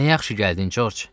Nə yaxşı gəldin, George.